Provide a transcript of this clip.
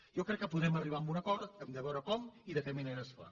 jo crec que podrem arribar a un acord hem de veure com i de quina manera es fa